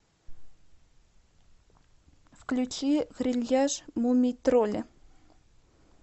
включи грильяж мумий тролля